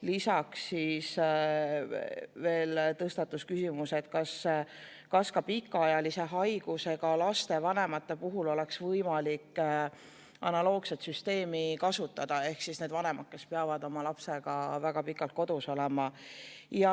Lisaks tõstatus küsimus, kas ka pikaajalise haigusega laste vanemate puhul oleks võimalik analoogset süsteemi kasutada, ehk nende vanemate puhul, kes peavad oma lapsega väga pikalt kodus olema.